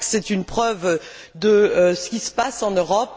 Je crois que c'est une preuve de ce qui se passe en Europe.